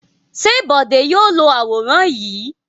Ṣé Bọ̀dé yóò lo àwòrán yìí?